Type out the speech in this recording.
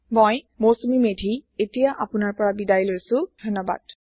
মই মৌচুমি মেধী এতিয়া আপোনাৰ পৰা বিদায় লৈছো যোগ দিয়াৰ বাবে ধন্যবাদ